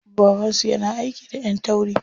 Baban su yana aiki da ƴan tauri.